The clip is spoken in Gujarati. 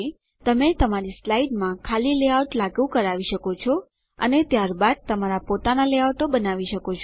તમે તમારી સ્લાઇડમાં ખાલી લેઆઉટ લાગુ કરાવી શકો છો અને ત્યારબાદ તમારા પોતાનાં લેઆઉટો બનાવી શકો છો